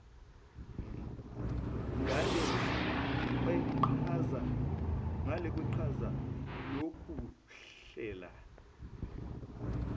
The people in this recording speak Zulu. ngale kweqhaza lokuhlela